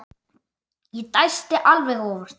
Ég dæsti alveg óvart.